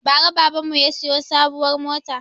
Bara baban mu ya siyo sabuwar mota